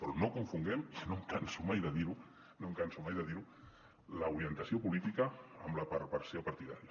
però no confonguem i no em canso mai de dir ho no em canso mai de dir ho l’orientació política amb la perversió partidària